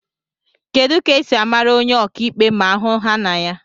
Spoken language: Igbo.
Kedu ka esi mara onye ọka ikpe ma ahu ha na anya